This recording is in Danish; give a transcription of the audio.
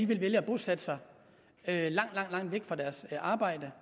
ville vælge at bosætte sig langt langt væk fra deres arbejde